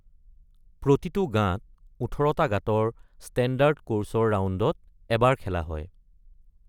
প্ৰতিটো গাঁত ১৮টা গাঁতৰ ষ্টেণ্ডাৰ্ড কোৰ্ছৰ ৰাউণ্ডত এবাৰ খেলা হয়।